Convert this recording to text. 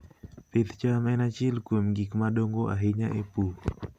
Pith cham en achiel kuom gik madongo ahinya e pur.